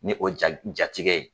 Ni o jatigi ye